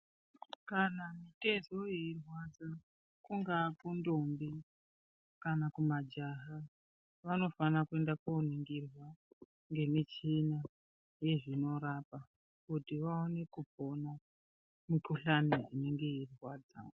Kana mitezo yeirwadza kungaa kundombi kana kumajaha vanofana kuenda kunoningirwa ngemichina yezvinorapa kuti vaone kupona mikhuhlani inenge yeipo.